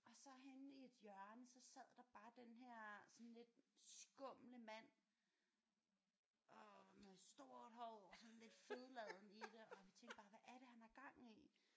Og så henne i et hjørne så sad der bare den her sådan lidt skumle mand og med stort hår sådan lidt fedladen i det og vi tænkte bare hvad er det han har gang i